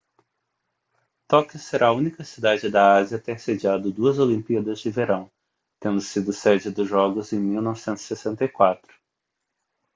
tóquio será a única cidade da ásia a ter sediado duas olimpíadas de verão tendo sido sede dos jogos em 1964